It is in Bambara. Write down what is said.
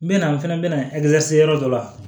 N bɛ na n fɛnɛ bɛ na yɔrɔ dɔ la